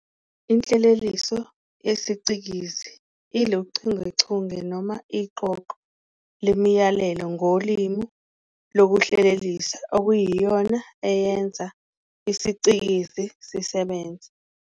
Inhleleliso yesiCikizi iluchungechunge noma iqoqo lemiyalelo ngolimi lokuhlelelisa okuyiyona iyenza isiCikizi sisebenze.